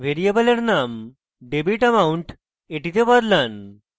ভ্যারিয়েবলের name debitamount এ বদলান